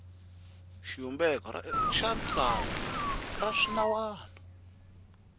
xivumbeko xa tsalwa ra swinawana